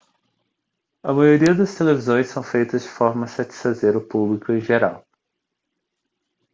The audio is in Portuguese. a maioria das televisões são feitas de forma a satisfazer o público em geral